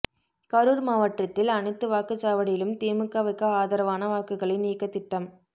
கரூர் மாவட்டத்தில் அனைத்து வாக்குச்சாவடியிலும் திமுகவுக்கு ஆதரவான வாக்குகளை நீக்க திட்டம்